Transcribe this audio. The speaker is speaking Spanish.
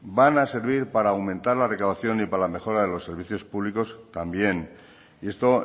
van a servir para aumentar la recaudación y para la mejora de los servicios públicos también y esto